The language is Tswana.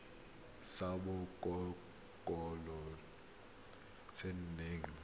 sa botokololo se se nang